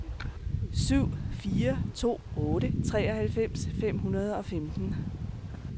syv fire to otte treoghalvfems fem hundrede og femten